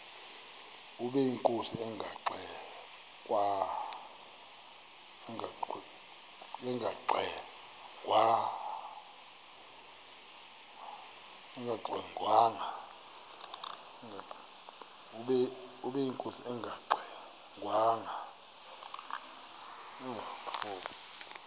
ubeyinkosi engangxe ngwanga